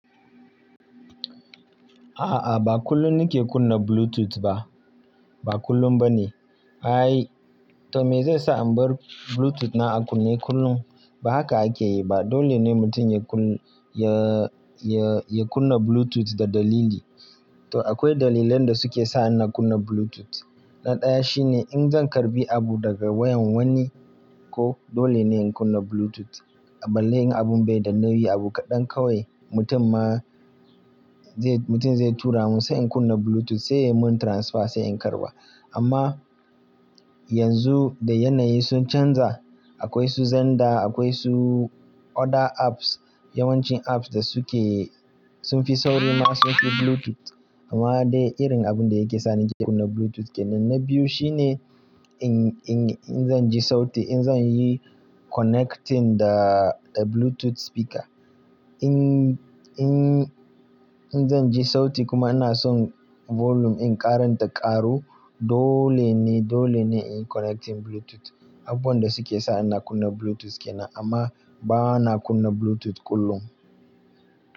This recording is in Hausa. A'a, ba kullum nake kunna Bluetooth ba. Ba kullum ba ne. To me zai sa in bar Bluetooth na a kunne kullum? Ba haka ake yi ba. Dole ne mutum ya kunna Bluetooth da dalili. To akwai dalilan da suke sa ina kunna Bluetooth. Na ɗaya shine in zan karɓi abu daga wayan wani ko dole ne in kunna Bluetooth. A ballai in abun bai da nauyi abu kaɗan kawai, mutum zai tura mun sai in kunna Bluetooth sai ya mun transfer sai in karɓa. Amma yanzu da yanayi sun canza, akwai su xender, akwai su other apps, yawancin apps sun fi sauri ma sun fi Bluetooth. Amma dai irin abun da yake sa nake kunna Bluetooth kenan. Na biyu shine in zan ji sauti, in zan yi connecting da Bluetooth speaker. In zan ji sauti kuma ina son volume in ƙaran ta ƙaru, dole ne in yi connecting Bluetooth. Abubuwan da suke sa ina kunna Bluetooth kenan amma ba na kunna Bluetooth kullum.